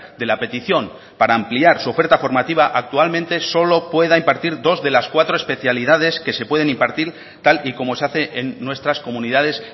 de la petición para ampliar su oferta formativa actualmente solo pueda impartir dos de las cuatro especialidades que se pueden impartir tal y como se hace en nuestras comunidades